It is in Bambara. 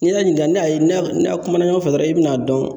N'i y'a ɲininka n'a ye n'a kuma ɲɔgɔn fɛ dɔrɔn e bi n'a dɔn